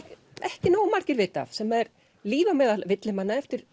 ekki nógu margir vita af sem er Líf á meðal villimanna eftir